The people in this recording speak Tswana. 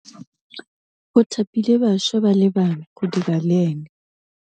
O thapile bašwa ba le bane go dira le ena.